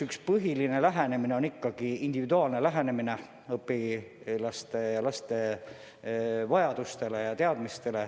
Üks põhiline lahendus on ikkagi individuaalne lähenemine õpilaste vajadustele.